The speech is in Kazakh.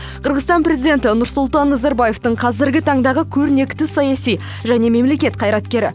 қырғызстан президенті нұрсұлтан назарбаевтың қазіргі таңдағы көрнекті саяси және мемлекет қайраткері